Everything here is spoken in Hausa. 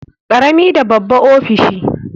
Karami da babba ofishi.